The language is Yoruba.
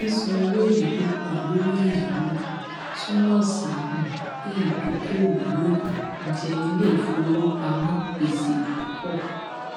sísan owó èlé tó pọ lórí ẹyáwó um túmọ sí um pé ìdókòwò yóò um jẹ iléìfowópamọ gbèsè púpọ